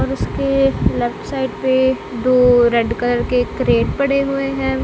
और उसके left side पे दो रेड कलर के क्रेट पड़े हुए हैं।